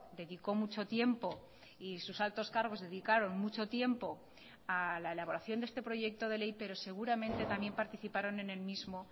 dedicó mucho tiempo y sus altos cargos dedicaron mucho tiempo a la elaboración de este proyecto de ley pero seguramente también participaron en el mismo